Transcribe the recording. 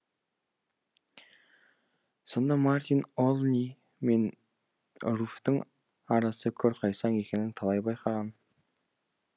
сонда мартин олни мен руфьтің арасы көрқайсаң екенін талай байқаған